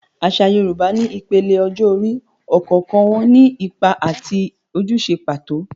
Àṣà Yorùbá ní ìpele ọjọ́ orí, ọ̀kọ̀ọ̀kan wọn ní ipa àti ojúṣe pàtó.